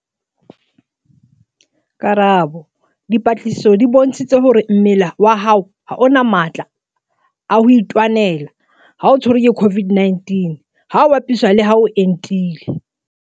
Karabo- Dipatlisiso di bontshitse hore mmele wa hao ha o na matla a makalo a ho itwanela ha o tshwerwe ke COVID-19 ha ho bapiswa le ha o entile.